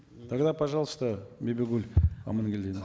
тогда пожалуйста бибигуль амангельдиевна